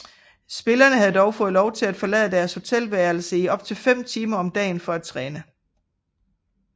Spillerne havde dog fået lov til at forlade deres hotelværelse i op til fem timer om dagen for at træne